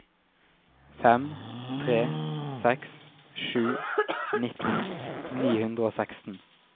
fem tre seks sju nitten ni hundre og seksten